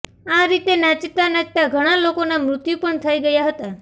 આ રીતે નાચતા નાચતા ઘણાં લોકોના મૃત્યુ પણ થઇ ગયાં હતા